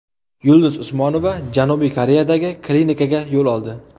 Yulduz Usmonova Janubiy Koreyadagi klinikaga yo‘l oldi .